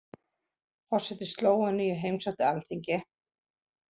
Forseti Slóveníu heimsótti Alþingi